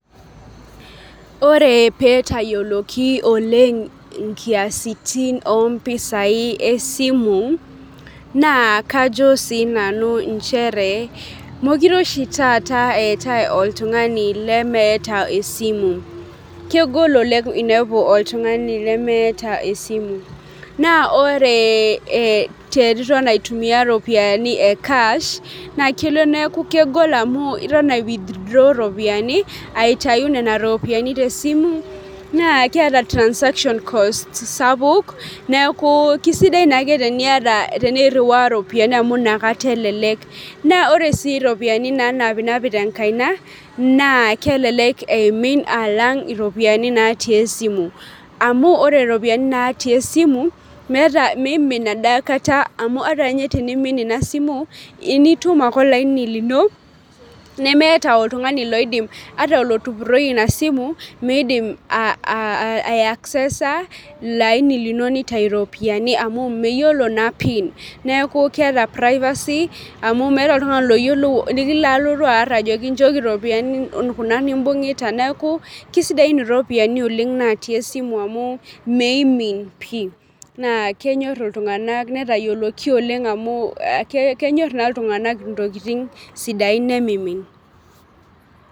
Ore petayioloki oleng' inkiasitin ompisai esimu, naa kajo sinanu inchere mokire oshi taata etae oltung'ani lemeeta esimu kegol oleng' inepu oltung'ani lemeeta esimu, naa ore eh teniton aitumia iropiyiani e cash naa kelo neeku kegol amu ito ae withdraw iropiyiani aitai nena ropiyiani tesimu naa keeta transaction cost sapuk neeku kisidai naake teniata teneirriwa iropiyiani amu inakata elelek naa ore sii iropiyiani nanapinapi tenkaina naa kelelek eimin alang' iropiyiani natii esimu amu ore iropiyiani natii esimu meeta meimin adakata amu ata inye tenimin ina simu initum ake olaini lino nemeeta oltung'ani loidim ata olotupurroyie ina simu miidim ae aiksesa ilo aini lino nitai iropiyiani amu meyiolo naa pin neeku keeta privacy amu meeta oltung'ani loyiolou likilo likilotu arr ajoki nchooki iropiyiani kuna nimbung'ita neeku kisidain iropiyiani oleng' natii esimu amu meimin pii naa kenyorr iltung'anak netayioloki oleng' amu kenyorr naa iltung'anak intokiting' sidain nemimin.